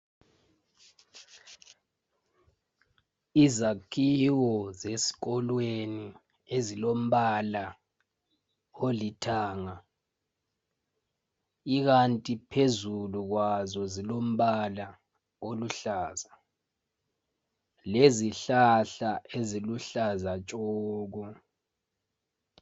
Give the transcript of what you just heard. izakhiwo zesikolweni ezilombala olithanga ikanti phezulu kwazo zilombala oluhlaza lezhlahla eziluhlaza tshoko